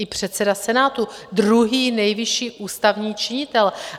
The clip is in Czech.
I předseda Senátu - druhý nejvyšší ústavní činitel.